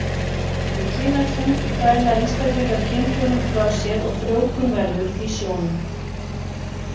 Við kynæxlun dæla einstaklingar kynfrumum frá sér og frjóvgun verður í sjónum.